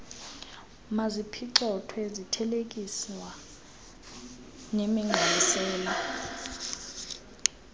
maziphicothwe zithelekiswa nemigqalisela